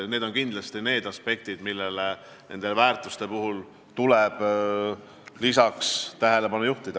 Need on kindlasti aspektid, millele nendest väärtustest rääkides tuleb tähelepanu juhtida.